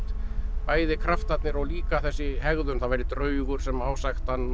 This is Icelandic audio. bæði kraftarnir og líka þessi hegðun það væri draugur sem ásækti hann og